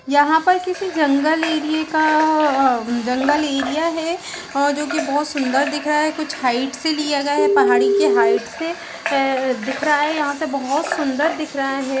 यहां पर किसी जंगल एरिये का जंगल एरिया है और जो की बोहत सुन्दर दिख रहा है कुछ हाइट से लिया गया है पहाड़ी के हाइट से दिख रहा है यहां से बोहत सुन्दर दिख रहा है।